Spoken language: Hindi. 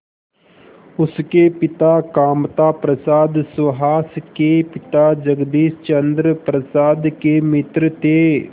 उसके पिता कामता प्रसाद सुहास के पिता जगदीश चंद्र प्रसाद के मित्र थे